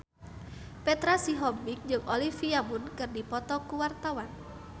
Petra Sihombing jeung Olivia Munn keur dipoto ku wartawan